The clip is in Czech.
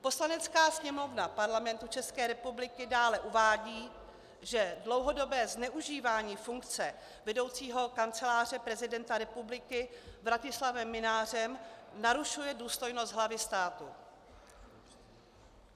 Poslanecká sněmovna Parlamentu České republiky dále uvádí, že dlouhodobé zneužívání funkce vedoucího Kanceláře prezidenta republiky Vratislavem Mynářem narušuje důstojnost hlavy státu.